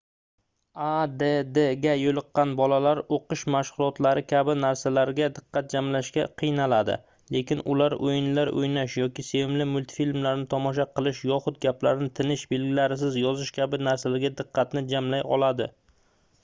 addga yoʻliqqan bolalar oʻqish mashgʻulotlari kabi narsalarga diqqat jamlashga qiynaladi lekin ular oʻyinlar oʻynash yoki sevimli multfilmlarini tomosha qilish yoxud gaplarni tinish belgilarisiz yozish kabi narsalarga diqqatini jamlay oladi